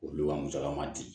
Olu ka musaka ma di